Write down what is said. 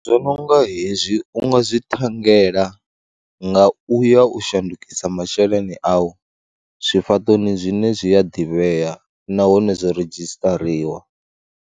Zwo no nga hezwi u nga zwi ṱhanngela nga u ya u shandukisa masheleni au zwifhaṱoni zwine zwi a ḓivhea nahone zwo redzhisṱariwa.